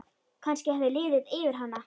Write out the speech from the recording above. Kannski hafði liðið yfir hana.